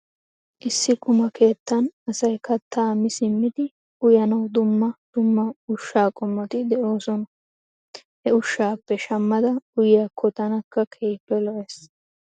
Issi quma keettan asay kattaa mi simmidi uyanaw dumma djmma ushaa qommoti de'oosona. He ushshaappe shamada uyiyaakko tanakka keehippe lo'es.